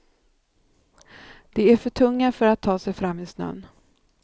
De är för tunga för att ta sig fram i snön.